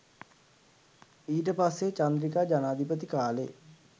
ඊට පස්සේ චන්ද්‍රිකා ජනාධිපති කාලෙ